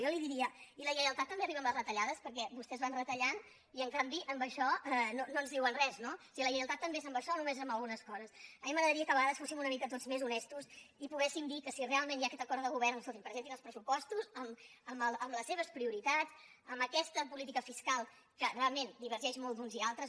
jo li diria i la lleialtat també arriba amb les retallades perquè vostès van retallant i en canvi en això no ens diuen res no o sigui la lleialtat també és amb això o només és amb algunes coses a mi m’agradaria que a vegades fóssim una mica tots més honestos i poguéssim dir que si realment hi ha aquest acord de govern doncs escoltin presentin els pressupostos amb les seves prioritats amb aquesta política fiscal que realment divergeix molt d’uns i altres